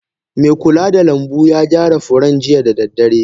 Me kula da lanbu ya gyara furen jiya da dare